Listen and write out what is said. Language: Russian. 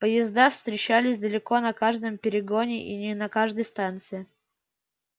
поезда встречались далеко на каждом перегоне и не на каждой станции